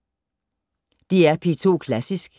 DR P2 Klassisk